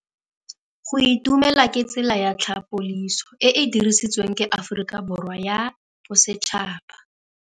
Go itumela ke tsela ya tlhapolisô e e dirisitsweng ke Aforika Borwa ya Bosetšhaba.